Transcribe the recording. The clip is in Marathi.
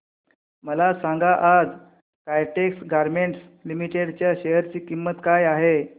मला सांगा आज काइटेक्स गारमेंट्स लिमिटेड च्या शेअर ची किंमत काय आहे